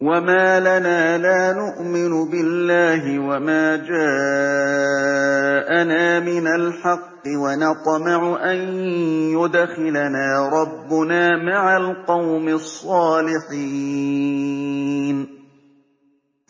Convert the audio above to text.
وَمَا لَنَا لَا نُؤْمِنُ بِاللَّهِ وَمَا جَاءَنَا مِنَ الْحَقِّ وَنَطْمَعُ أَن يُدْخِلَنَا رَبُّنَا مَعَ الْقَوْمِ الصَّالِحِينَ